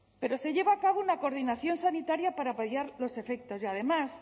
pero se lleva a cabo una coordinación sanitaria para paliar los efectos y además